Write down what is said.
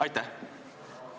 Aitäh!